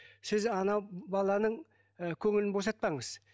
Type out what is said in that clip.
сіз анау баланың ы көңілін босатпаңыз